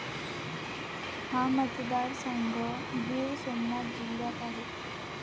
हा मतदारसंघ गीर सोमनाथ जिल्ह्यात आहे.